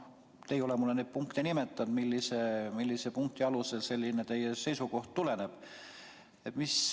Te ei ole mulle neid punkte nimetanud, millise punkti alusel teie selline seisukoht tuleneb.